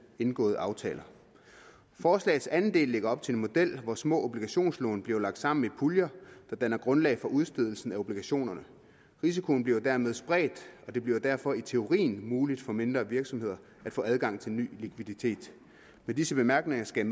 indgåede aftaler forslagets andel del lægger op til en model hvor små obligationslån bliver lagt sammen i puljer der danner grundlag for udstedelsen af obligationerne risikoen bliver dermed spredt og det bliver derfor i teorien muligt for mindre virksomheder at få adgang til ny likviditet med disse bemærkninger skal